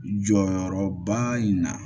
Jɔyɔrɔba in na